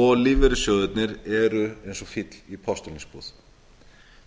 og lífeyrissjóðirnir eru eins og fíll í postulínsbúð